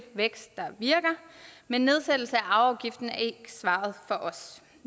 vækst der virker men nedsættelse af arveafgiften er ikke svaret for os